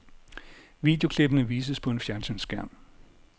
Videoklippene vises på en fjernsynsskærm.